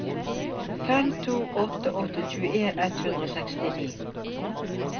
fem to åtte åtte tjueen ett hundre og sekstini